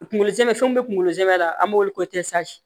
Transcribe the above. Kunkolo zɛmɛ fɛn mun be kunkolo zɛmɛ la an b'o wele ko